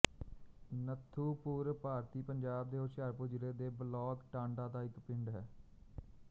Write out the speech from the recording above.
ਨੱਥੂਪੁਰ ਭਾਰਤੀ ਪੰਜਾਬ ਦੇ ਹੁਸ਼ਿਆਰਪੁਰ ਜ਼ਿਲ੍ਹੇ ਦੇ ਬਲਾਕ ਟਾਂਡਾ ਦਾ ਇੱਕ ਪਿੰਡ ਹੈ